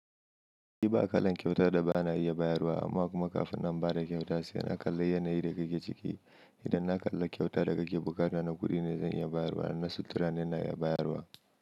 Shi ba kalan kyautar da bana iya bayarwa amma kuma kafin na ba da kyauta sai na kalla yanayi da kake ciki. Idan na kalla kyauta da kake bukata, na kuɗi ne zan iya bayarwa, na suttura ne na iya bayarwa.